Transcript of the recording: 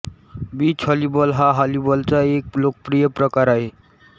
beach volleyball हा व्हॉलीबॉलचा एक लोकप्रिय प्रकार आहे